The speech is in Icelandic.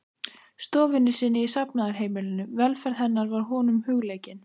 stofunni sinni í safnaðarheimilinu, velferð hennar var honum hugleikin.